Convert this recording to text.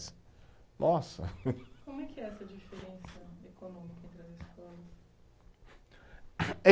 nossa! Como é que é essa diferença econômica entre as escolas?